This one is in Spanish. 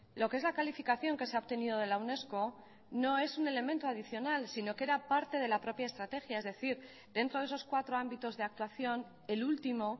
lo que es la calificación que se ha obtenido de la unesco no es un elemento adicional sino que era parte de la propia estrategia es decir dentro de esos cuatro ámbitos de actuación el último